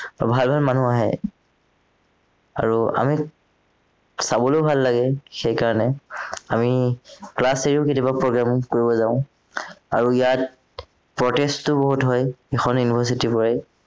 ভাল ভাল মানুহ আহে আৰু আমি চাবলেও ভাল লাগে সেইকাৰণে আমি class থাকিলেও কেতিয়াবা programme কৰিব যাও আৰু ইয়াত protest ও বহুত হয় এইখন university ৰ পৰাই